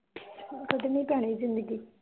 ਕੱਢਣੀ ਪੈਣੀ ਜ਼ਿੰਦਗੀ